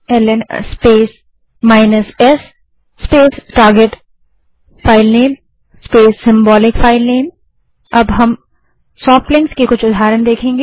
ल्न space s space target filename space symbolic filename अब हम soft links के कुछ उदाहरण देखेंगे